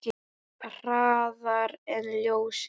Hraðar en ljósið.